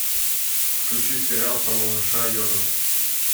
включи сериал про малыша йоду